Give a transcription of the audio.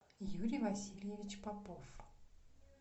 юрий васильевич попов